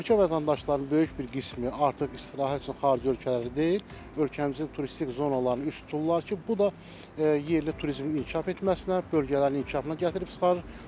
Ölkə vətəndaşlarının böyük bir qismi artıq istirahət üçün xarici ölkələri deyil, ölkəmizin turistik zonalarını üz tuturlar ki, bu da yerli turizmin inkişaf etməsinə, bölgələrin inkişafına gətirib çıxarır.